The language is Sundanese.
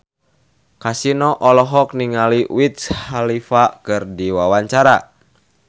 Kasino olohok ningali Wiz Khalifa keur diwawancara